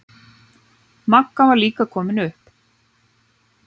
Magga var líka komin upp.